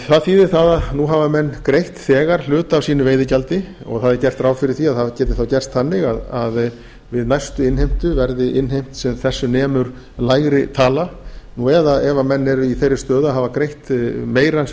það þýðir að nú hafa menn greitt þegar hluta af sínu veiðigjaldi og það er gert ráð fyrir að það geti gerst þannig að við næstu innheimtu verði innheimt sem þessu nemur lægri tala eða ef menn eru í þeirri stöðu að hafa greitt meira en sem